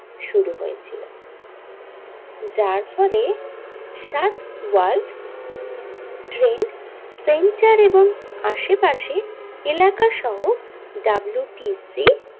শুরু হয়েছিল যার ফলে সাত ওয়ার্ল্ড ট্রেড সেন্টার এবং আশেপাশে এলাকা সহ ডাব্লিউটিসি।